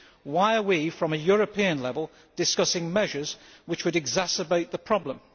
why are we at a European level discussing measures which would exacerbate the problem?